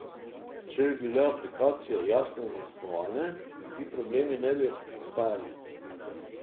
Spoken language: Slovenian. Če bi bile aplikacije jasno zasnovane, ti problemi ne bi nastajali.